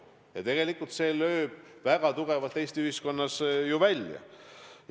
See lähenemine tegelikult lööb väga tugevalt Eesti ühiskonnas välja.